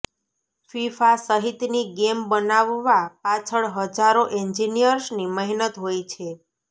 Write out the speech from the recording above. FIFA સહિતની game બનાવવા પાછળ હજારો એન્જિનિયર્સની મહેનત હોય છે